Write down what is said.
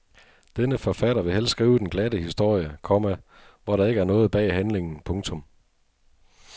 Denne forfatter vil helst skrive den glatte historie, komma hvor der ikke er noget bag handlingen. punktum